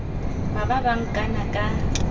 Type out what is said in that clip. ba ba ba nkana ka